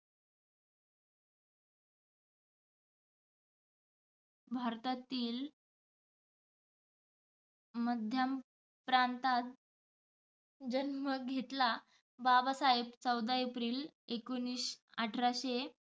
भारतातील मध्यम प्रांतात जन्म घेतला. बाबासाहेब चौदा एप्रिल एकोणीस अठराशे